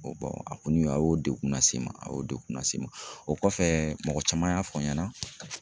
a kɔni a y'o degun lase n ma, a y'o dekun las'i ma, o kɔfɛ mɔgɔ caman y'a fɔ n ɲɛna